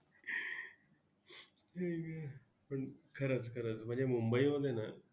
आई गं, पण खरंच खरंच, म्हणजे मुंबईमध्ये ना!